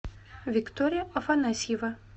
виктория афанасьева